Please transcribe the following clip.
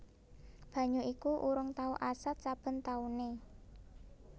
Banyu iku urung tau asat saben taune